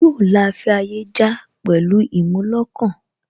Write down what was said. Yóò la afẹ́ ayé já pẹ̀lú ìmúlọkàn